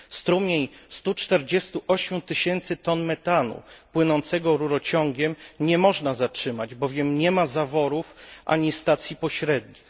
Strumienia 148 tysięcy ton metanu płynącego rurociągiem nie można zatrzymać, bowiem nie ma zaworów ani stacji pośrednich.